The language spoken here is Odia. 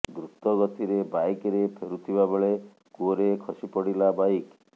ଦ୍ରୁତଗତିରେ ବାଇକ୍ ରେ ଫେରୁଥିବା ବେଳେ କୂଅରେ ଖସିପଡ଼ିଲା ବାଇକ୍